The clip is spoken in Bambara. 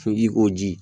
Sotigi ko ji